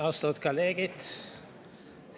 Austatud kolleegid!